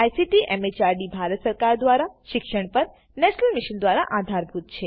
જેને ICT MHRD Bharat સરકાર મારફતે શિક્ષણ પર નેશનલ મિશન દ્વારા આધાર અપાયેલ છે